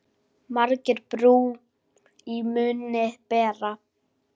Margir brú í munni bera.